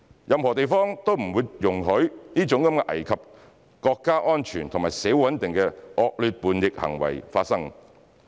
任何地方都不會容許這種危及國家安全和社會穩定的惡劣叛逆行為發生。